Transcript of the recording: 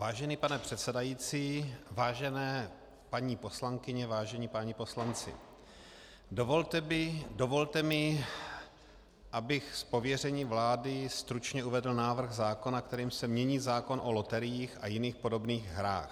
Vážený pane předsedající, vážené paní poslankyně, vážení páni poslanci, dovolte mi, abych z pověření vlády stručně uvedl návrh zákona, kterým se mění zákon o loteriích a jiných podobných hrách.